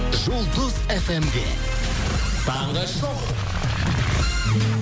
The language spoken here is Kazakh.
жұлдыз эф эм де таңғы шоу